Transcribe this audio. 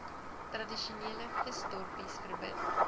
tradisionele visdorpies verbind